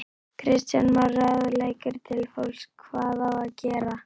Kristján Már: Ráðleggingar til fólks, hvað á að gera?